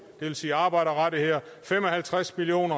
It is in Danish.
det vil sige arbejderrettigheder fem og halvtreds million